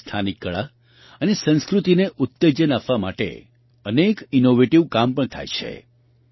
તેમાં સ્થાનિક કળા અને સંસ્કૃતિને ઉત્તેજન આપવા માટે અનેક ઇનૉવેટિવ કામ પણ થાય છે